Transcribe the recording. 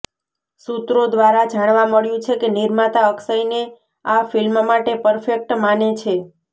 સૂત્રો દ્રારા જાણવા મળ્યુ છે કે નિર્માતા અક્ષયને આ ફિલ્મ માટે પરફેક્ટ માને છે